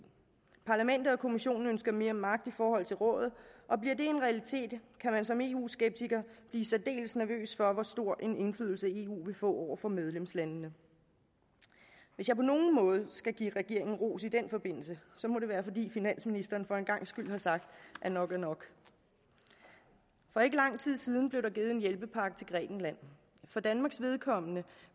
parlamentet og kommissionen ønsker mere magt i forhold til rådet og bliver det en realitet kan man som eu skeptiker blive særdeles nervøs for hvor stor en indflydelse eu vil få over for medlemslandene hvis jeg på nogen måde skal give regeringen ros i den forbindelse må det være fordi finansministeren for en gangs skyld har sagt at nok er nok for ikke lang tid siden blev der givet en hjælpepakke til grækenland for danmarks vedkommende